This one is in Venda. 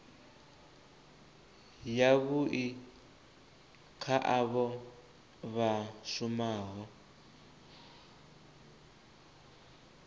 yavhui kha avho vha shumaho